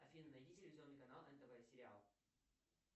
афина найди телевизионный канал нтв сериал